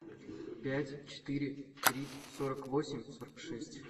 пять четыре три сорок восемь сорок шесть